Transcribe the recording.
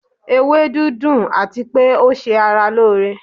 Ewedu dun àtipé ó se ara lóore